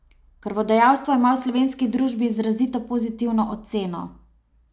Krvodajalstvo ima v slovenski družbi izrazito pozitivno oceno.